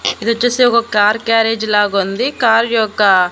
ఇదొచ్చేసి ఒక car garage లాగుంది car యొక్క--